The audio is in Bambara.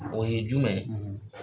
O ye jumɛn